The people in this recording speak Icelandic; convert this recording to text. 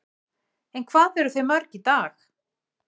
En hvað eru þau mörg í dag?